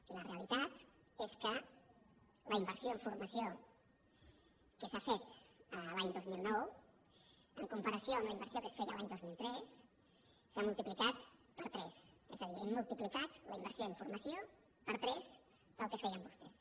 i la realitat és que la inversió en formació que s’ha fet l’any dos mil nou en comparació amb la inversió que es feia l’any dos mil tres s’ha multiplicat per tres és a dir hem multiplicat la inversió en formació per tres del que feien vostès